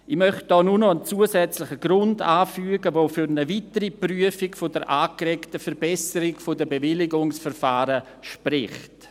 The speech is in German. Ich möchte hier nur noch einen zusätzlichen Grund anfügen, der für eine weitere Prüfung der angeregten Verbesserung der Bewilligungsverfahren spricht.